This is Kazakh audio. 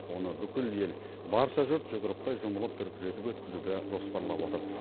оны бүкіл ел барша жұрт жұдырықтай жұмылып дүркіретіп өткізуді жоспарлап отыр